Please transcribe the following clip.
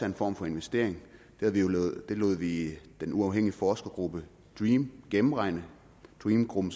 en form for investering det lod vi den uafhængige forskergruppe dream gennemregne dream gruppen